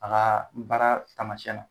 Taga baara taamasɛn na